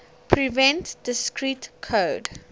prevent discrete code